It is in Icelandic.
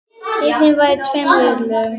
Leikið var í tveimur riðlum.